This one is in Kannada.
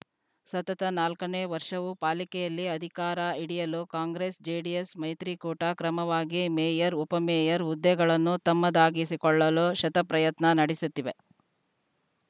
ಸತತ ನಾಲ್ಕನೇ ವರ್ಷವೂ ಪಾಲಿಕೆಯಲ್ಲಿ ಅಧಿಕಾರ ಹಿಡಿಯಲು ಕಾಂಗ್ರೆಸ್‌ ಜೆಡಿಎಸ್‌ ಮೈತ್ರಿಕೂಟ ಕ್ರಮವಾಗಿ ಮೇಯರ್‌ ಉಪಮೇಯರ್‌ ಹುದ್ದೆಗಳನ್ನು ತಮ್ಮದಾಗಿಸಿಕೊಳ್ಳಲು ಶತಪ್ರಯತ್ನ ನಡೆಸುತ್ತಿವೆ